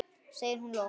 segir hún loks.